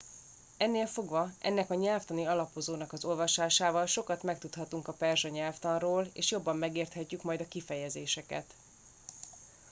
ennél fogva ennek a nyelvtani alapozónak az olvasásával sokat megtudhatunk a perzsa nyelvtanról és jobban megértjük majd a kifejezéseket